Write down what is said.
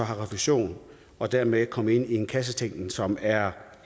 får refusion og dermed kommer ind i en kassetænkning som er